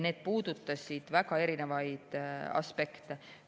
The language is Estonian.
Need puudutasid väga erinevaid aspekte.